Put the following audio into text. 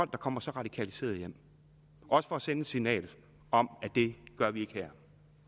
der kommer så radikaliserede hjem også for at sende et signal om at det gør vi ikke her